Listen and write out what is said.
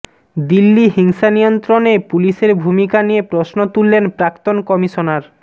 দিল্লি হিংসা নিয়ন্ত্রণে পুলিশের ভূমিকা নিয়ে প্রশ্ন তুললেন প্রাক্তন কমিশনার